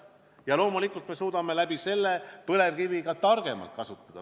Loomulikult, me suudame põlevkivi ka targemalt kasutada.